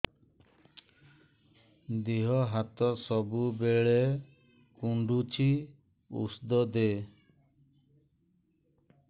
ଦିହ ହାତ ସବୁବେଳେ କୁଣ୍ଡୁଚି ଉଷ୍ଧ ଦେ